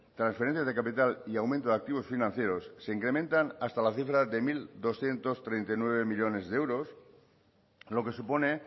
transferencias de capital y aumento de activos financieros se incrementan hasta la cifra de mil doscientos treinta y nueve millónes de euros lo que supone